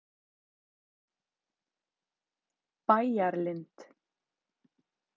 Bæjarlind